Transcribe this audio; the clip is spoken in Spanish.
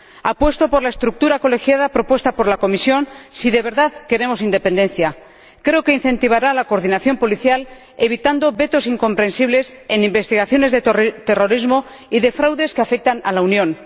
Apuesto por la estructura colegiada propuesta por la Comisión si de verdad queremos independencia creo que incentivará la coordinación policial evitando vetos incomprensibles en investigaciones de terrorismo y de fraudes que afectan a la Unión.